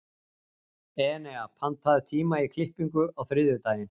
Enea, pantaðu tíma í klippingu á þriðjudaginn.